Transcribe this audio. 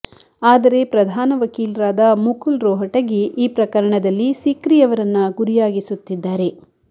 ಆದರೆ ಪ್ರಧಾನ ವಕೀಲರಾದ ಮುಕುಲ್ ರೋಹಟಗಿ ಈ ಪ್ರಕರಣದಲ್ಲಿ ಸಿಕ್ರಿಯವರನ್ನ ಗುರಿಯಾಗಿಸುತ್ತಿದ್ದಾರೆ